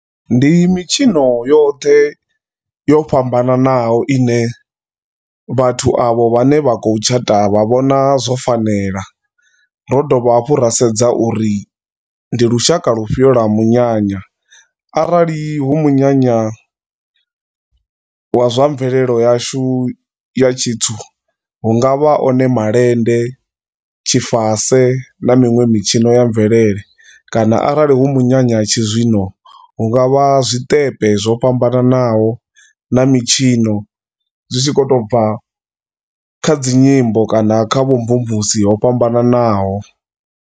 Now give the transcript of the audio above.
Ndi mitshino yoṱhe yo fhambananaho ine vhathu avho vhane vhakho tshata vha vhona zwo fanela. Rodovha hafhu rasedza uri ndi lushaka lufhio lwa munyanya. Arali hu munyanya wa zwamvelelo yashu ya tshintsu hungavha one malende, tshifase, na miṅwe mitshino ya mvelele, kana arali hu minyanya ya tshi zwino hungavha zwiṱepe zwo fhambananaho na mitshino zwitshi khoto bva kha dzinyimbo kana kha vhumvumvusi ho fhambananaho.